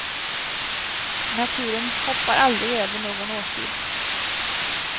Naturen hoppar aldrig över någon årstid.